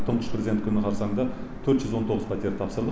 тұңғыш президент күні қарсаңында төрт жүз он тоғыз пәтер тапсырдық